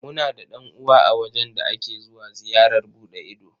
Muna da ɗan'uwa a wajen da ake zuwa ziyarar buɗe ido.